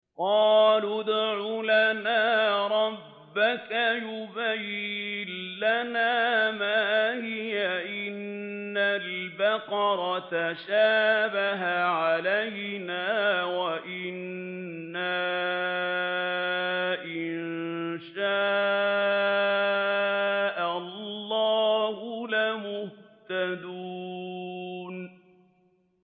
قَالُوا ادْعُ لَنَا رَبَّكَ يُبَيِّن لَّنَا مَا هِيَ إِنَّ الْبَقَرَ تَشَابَهَ عَلَيْنَا وَإِنَّا إِن شَاءَ اللَّهُ لَمُهْتَدُونَ